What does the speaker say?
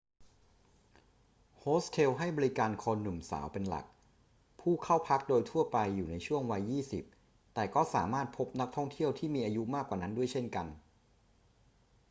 โฮสเทลให้บริการคนหนุ่มสาวเป็นหลัก ผู้เข้าพักโดยทั่วไปอยู่ในช่วงวัยยี่สิบ แต่ก็สามารถพบนักท่องเที่ยวที่มีอายุมากกว่านั้นด้วยเช่นกัน